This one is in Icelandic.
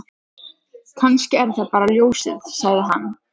Kannski er það bara ljósið, sagði hann.